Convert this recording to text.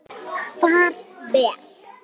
Far vel!